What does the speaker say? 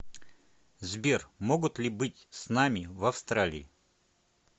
сбер могут ли быть с нами в австралии